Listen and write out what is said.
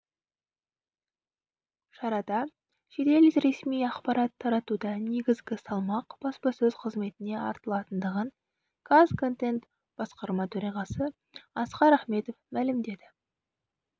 шарада жедел ресми ақпарат таратуда негізгі салмақ баспасөз қызметіне артылатындығын казконтент басқарма төрағасы асқар ахметов мәлімдеді